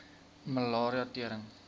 malaria tering